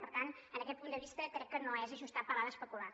per tant en aquest punt de vista crec que no és ajustat parlar d’especular